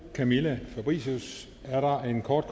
camilla fabricius er der en kort